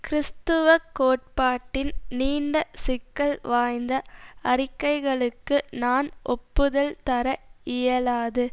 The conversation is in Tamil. கிறிஸ்துவக் கோட்பாட்டின் நீண்ட சிக்கல் வாய்ந்த அறிக்கைகளுக்கு நான் ஒப்புதுல் தர இயலாது